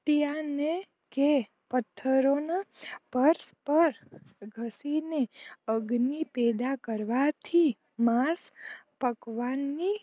કે પથરોનો પગ પર ઘસીને અગ્નિ પેદા કરવાથી માસ પકવાનની